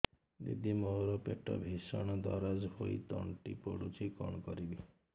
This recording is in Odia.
ଦିଦି ମୋର ପେଟ ଭୀଷଣ ଦରଜ ହୋଇ ତଣ୍ଟି ପୋଡୁଛି କଣ କରିବି